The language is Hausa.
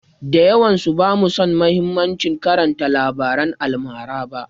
Da yawansu bamu san mahimmancin karanta labaran almara ba.